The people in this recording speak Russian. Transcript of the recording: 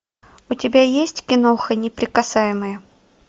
у тебя есть киноха неприкасаемые